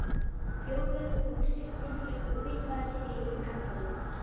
Þjóðverjinn tók stutt tilhlaup og vippaði sér yfir gaddavírinn.